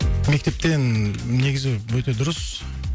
мектептен негізі өте дұрыс